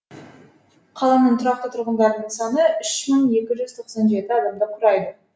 қаланың тұрақты тұрғындарының саны үш мың екі жүз тоқсан жеті адамды құрайды